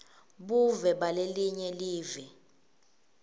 buve balelinye live